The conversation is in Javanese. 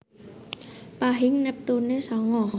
Pahing neptune sanga